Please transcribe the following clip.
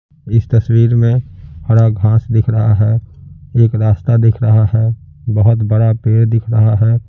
इस तस्वीर में हरा घास दिख रहा है एक रास्ता दिख रहा है बहुत बड़ा पेड़ दिख रहा है।